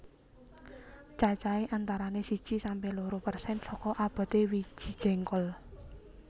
Cacahé antarané siji sampe loro persen saka aboté wiji jéngkol